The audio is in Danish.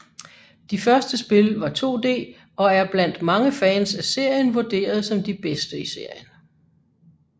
De første spil var 2D og er blandt mange fans af serien vurderet som de bedste i serien